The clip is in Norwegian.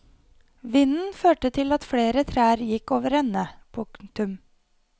Vinden førte til at flere trær gikk overende. punktum